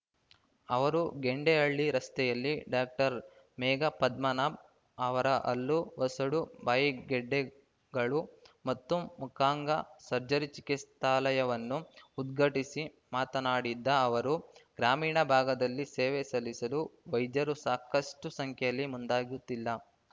ಅವರು ಗೆಂಡೇಹಳ್ಳಿ ರಸ್ತೆಯಲ್ಲಿ ಡಾಕ್ಟರ್ ಮೇಘ ಪದ್ಮನಾಭ್‌ ಅವರ ಹಲ್ಲು ವಸಡು ಬಾಯಿಗೆಡ್ಡೆಗಳು ಮತ್ತು ಮುಖಾಂಗ ಸರ್ಜರಿ ಚಿಕಿತ್ಸಾಲಯವನ್ನು ಉದ್ಘಾಟಿಸಿ ಮಾತನಾಡಿದ್ದ ಅವರು ಗ್ರಾಮೀಣ ಭಾಗದಲ್ಲಿ ಸೇವೆ ಸಲ್ಲಿಸಲು ವೈದ್ಯರು ಸಾಕಷ್ಟುಸಂಖ್ಯೆಯಲ್ಲಿ ಮುಂದಾಗುತ್ತಿಲ್ಲ